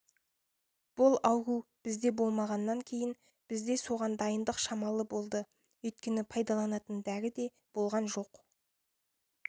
бұл ауру бізде болмағаннан кейін бізде соған дайындық шамалы болды өйткені пайдаланатын дәрі де болған жоқ